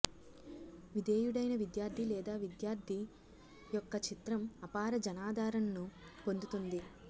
విధేయుడైన విద్యార్థి లేదా విద్యార్థి యొక్క చిత్రం అపార జనాదరణను పొందుతుంది